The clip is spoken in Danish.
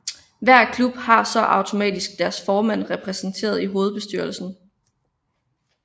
Hver klub har så automatisk deres formand repræsenteret i hovedbestyrelsen